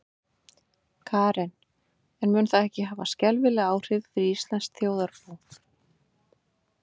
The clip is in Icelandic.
Karen: En mun það ekki hafa skelfileg áhrif fyrir íslenskt þjóðarbú?